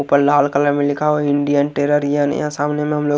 ऊपर लाल कलर में लिखा हुआ है इंडियन टेरर या सामने में--